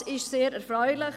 Das ist sehr erfreulich.